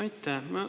Aitäh!